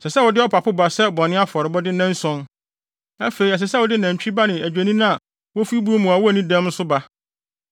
“Ɛsɛ sɛ wode ɔpapo ba sɛ bɔne afɔrebɔde nnanson; afei ɛsɛ sɛ wode nantwi ba ne adwennini a wofi buw mu na wonni dɛm nso ba.